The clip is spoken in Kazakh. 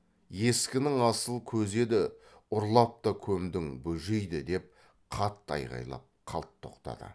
ескінің асыл көзі еді ұрлап та көмдің бөжейді деп қатты айғайлап қалт тоқтады